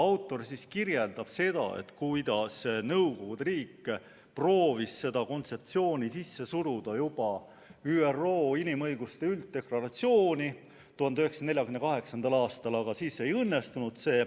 Autor kirjeldab, kuidas Nõukogude Liit proovis seda kontseptsiooni sisse suruda juba ÜRO inimõiguste ülddeklaratsiooni 1948. aastal, aga siis see ei õnnestunud.